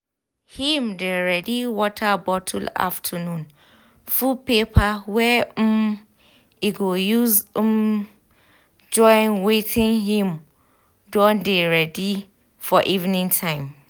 him dey ready water bottle afternoon food paper wey um e go use um join wetin him dey ready for evening time